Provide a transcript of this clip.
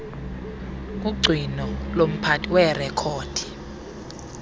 kugcino lomphathi weerekhodi